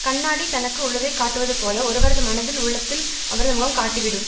கண்ணாடி தனக்கு உள்ளத்தை காட்டுவதுபோல ஒருவரது மனத்தில் உள்ளத்தில் அவரது முகம் காட்டி விடும்